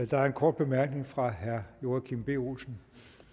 der er en kort bemærkning fra herre joachim b olsen